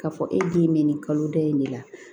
K'a fɔ e den bɛ nin kalo da in de la